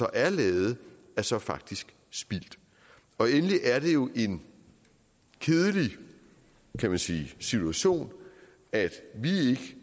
er lavet er så faktisk spildt endelig er det jo en kedelig kan man sige situation at vi